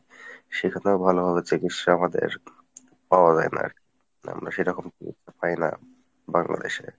সেখানেও ভালোভাবে চিকিৎসা আমাদের পাওয়া যায়না আরকি না আমরা সেরকম পাই না বাংলাদেশে